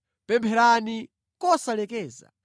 Pempherani kosalekeza.